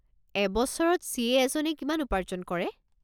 এবছৰত চি.এ. এজনে কিমান উপাৰ্জন কৰে?